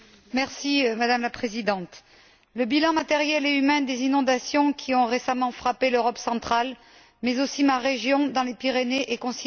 Madame la Présidente, le bilan matériel et humain des inondations qui ont récemment frappé l'Europe centrale, mais aussi ma région, dans les Pyrénées, est considérable.